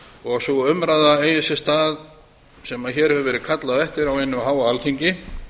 og sú umræða eigi sér stað sem hér hefur verið kallað eftir á hinu háa alþingi